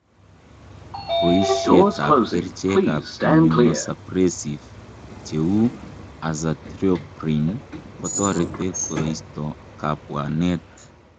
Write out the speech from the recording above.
Boishietab kerichek ab Immunosuppressive che u azathioprine kotoreti koisto kabwanet.